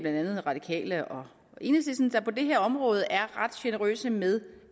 andet radikale og enhedslisten der på det her område er ret generøse med